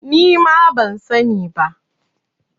Nima ban sani ba